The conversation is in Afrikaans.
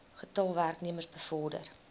getal werknemers bevorder